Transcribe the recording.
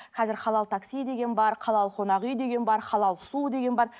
қазір халал такси деген бар халал қонақ үй деген бар халал су деген бар